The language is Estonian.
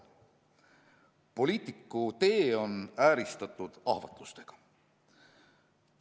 Poliitiku tee on ääristatud ahvatlustega.